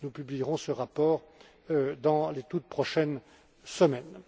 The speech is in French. Nous publierons ce rapport dans les toutes prochaines semaines.